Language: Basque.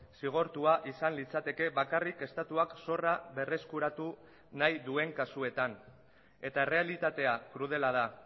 zigortua izan litzateke bakarrik estatuak zorra berreskuratu nahi duen kasuetan eta errealitatea krudela da